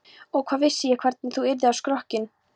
Og hvað vissi ég hvernig þú yrðir á skrokkinn.